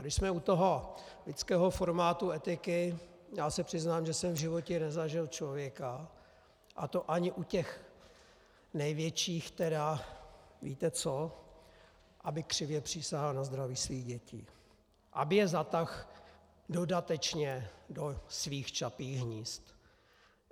A když jsme u toho lidského formátu etiky, já se přiznám, že jsem v životě nezažil člověka, a to ani u těch největších tedy, víte co, aby křivě přísahal na zdraví svých dětí, aby je zatáhl dodatečně do svých čapích hnízd.